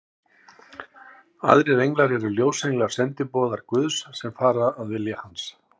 Aðrir englar eru ljósenglar, sendiboðar Guðs, sem fara að vilja hans.